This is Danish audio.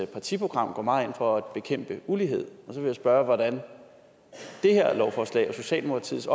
partiprogram går meget ind for at bekæmpe ulighed og så vil jeg spørge hvordan det her lovforslag og socialdemokratiets